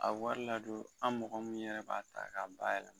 A bɛ wari ladon an mɔgɔ min yɛrɛ b'a ta k'a bayɛlɛma.